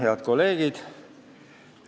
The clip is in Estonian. Head kolleegid!